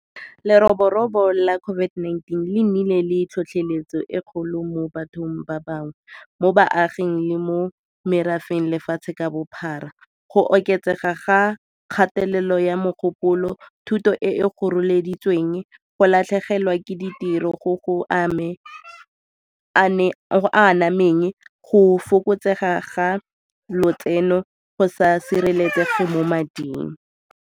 Leroborobo la COVID-19 le nnile le tlhotlheletso e kgolo mo bathong ba bangwe, mo baaging le mo merafeng lefatshe ka bophara. Go oketsega ga kgatelelo ya mogopolo, thuto e e goreleditsweng, go latlhegelwa ke ditiro go go anameng, go fokotsega ga lotseno, go sa sireletsege mo mading.